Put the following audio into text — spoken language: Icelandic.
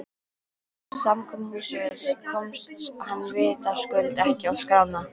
Samkomuhúsið komst hann vitaskuld ekki á skrána.